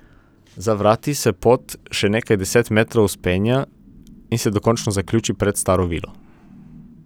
Za vrati se pot še nekaj deset metrov vzpenja, in se dokončno zaključi pred staro vilo.